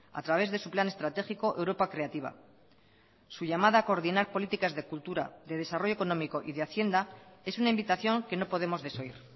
a través de su plan estratégico europa creativa su llamada a coordinar políticas de cultura de desarrollo económico y de hacienda es una invitación que no podemos desoír